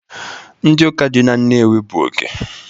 Ndị ụka dị na Nnewi bụ oke